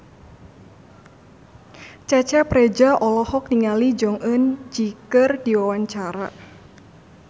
Cecep Reza olohok ningali Jong Eun Ji keur diwawancara